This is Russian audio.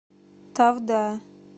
тавда